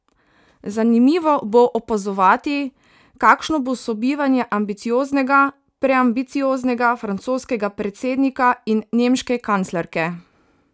Zanimivo bo opazovati, kakšno bo sobivanje ambicioznega, preambicioznega francoskega predsednika in nemške kanclerke.